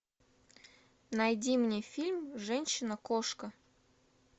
найди мне фильм женщина кошка